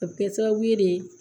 A bɛ kɛ sababu ye de